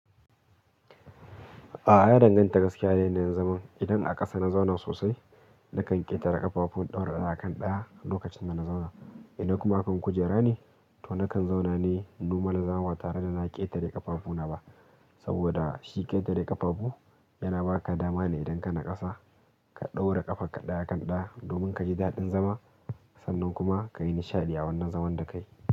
A'a, ya danganta gaskiya da yanayin zama. Idan aka kasa na zauna sosai, nakan ƙetare ƙafafu in ɗaura ɗaya a kan ɗaya lokacin da na zauna. Ian a kuma kan kujera ne, to nakan zauna ne normal zama ba tare da na ƙetare ƙafafuna ba. Saboda shi ƙetare ƙafafu yana ba ka dama ne idan ka naƙasa, ka ɗaura ƙafarka ɗaya kan ɗaya domin ka ji daɗin zama sannan kuma ka yi nishaɗi a wannan zaman da kayi.